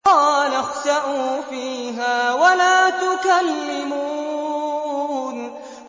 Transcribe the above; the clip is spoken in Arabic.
قَالَ اخْسَئُوا فِيهَا وَلَا تُكَلِّمُونِ